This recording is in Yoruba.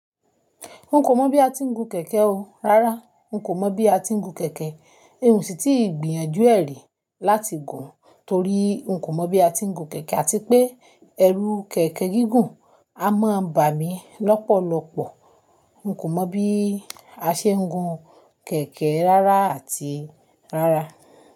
N kò mọ bí a ti ń gun kẹ̀kẹ́ o, rárá n kò mọ bí a ti ń gun kẹ̀kẹ́. N sì ti ń gbìyànjú ẹ́ rí láti gùn torí n kò mọ bí a ti ń gun kẹ̀kẹ́ àti pé ẹrù kẹ̀kẹ́ gígùn a máa ń bà mí lọ́pọ̀lọpọ̀. N kò mọ bí a ṣe ń gun kẹ̀kẹ́ rárá àti rárá.